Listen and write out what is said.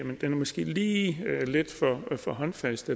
det måske er lige lidt for håndfast